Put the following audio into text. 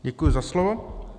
Děkuji za slovo.